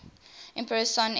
emperor's son enzo